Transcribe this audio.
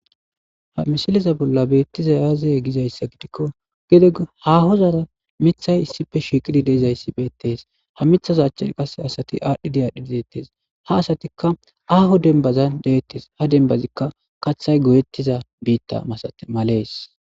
Ha mishiliza bolla beettiza yaaze gizayssa gidikko gede haaho zaara mithay issife shiiqidi deezayssi beettees ha mithaza achchen qas asati aadhdhi diyaadhdhi dideettes ha asatikka aaho denbazan deettes ha denbazikka kathay goyettiza biitta masate malees.